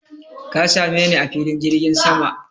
Ka same ni a filin jirgin sama!